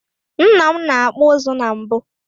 Nna m na-akpụ ụzụ na mbụ.